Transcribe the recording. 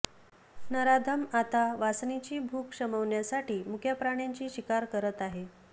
नराधम आता वासनेची भूक शमवण्यासाठी मुक्या प्राण्यांची शिकार करत आहे